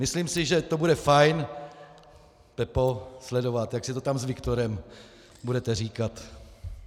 Myslím si, že to bude fajn, Pepo, sledovat, jak si to tam s Viktorem budete říkat.